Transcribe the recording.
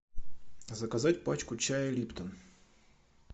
заказать пачку чая липтон